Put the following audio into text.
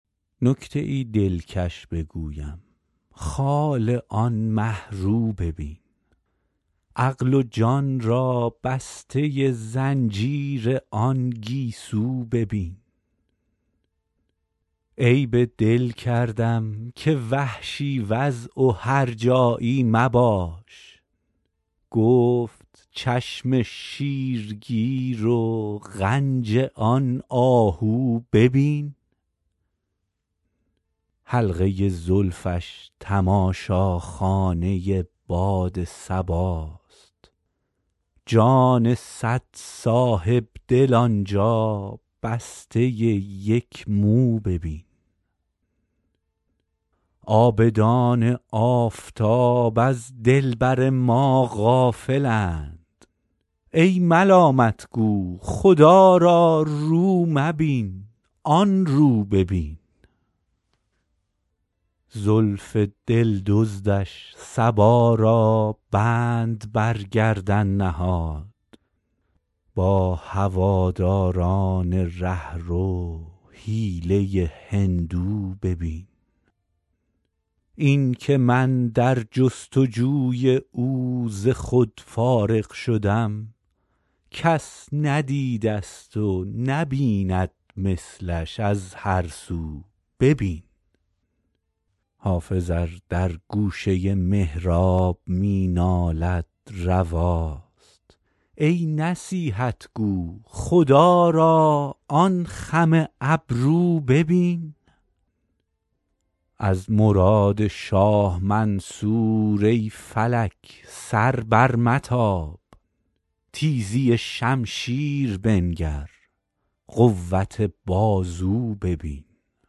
نکته ای دلکش بگویم خال آن مه رو ببین عقل و جان را بسته زنجیر آن گیسو ببین عیب دل کردم که وحشی وضع و هرجایی مباش گفت چشم شیرگیر و غنج آن آهو ببین حلقه زلفش تماشاخانه باد صباست جان صد صاحب دل آن جا بسته یک مو ببین عابدان آفتاب از دلبر ما غافل اند ای ملامت گو خدا را رو مبین آن رو ببین زلف دل دزدش صبا را بند بر گردن نهاد با هواداران ره رو حیله هندو ببین این که من در جست وجوی او ز خود فارغ شدم کس ندیده ست و نبیند مثلش از هر سو ببین حافظ ار در گوشه محراب می نالد رواست ای نصیحت گو خدا را آن خم ابرو ببین از مراد شاه منصور ای فلک سر برمتاب تیزی شمشیر بنگر قوت بازو ببین